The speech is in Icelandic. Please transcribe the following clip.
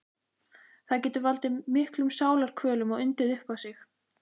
Það getur valdið miklum sálarkvölum og undið upp á sig.